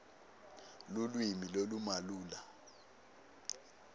lulwimi lolumalula